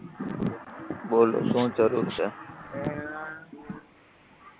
બોલો શું જરૂર છે